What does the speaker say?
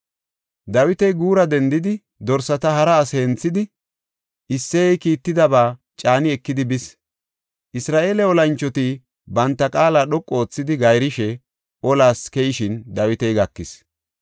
Dawiti guura dendidi dorsata hara asi henthidi, Isseyey kiittidaba caani ekidi bis. Isra7eele olanchoti banta qaala dhoqu oothidi gayrishe olas keyishin Dawiti gakis.